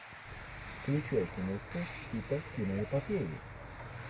включай киношку типа киноэпопеи